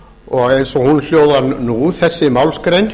og eins og þessi málsgrein